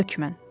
Hökmən.